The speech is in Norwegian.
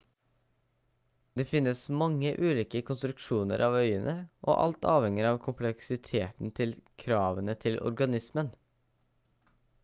det finnes mange ulike konstruksjoner av øyne og alt avhenger av kompleksiteten til kravene til organismen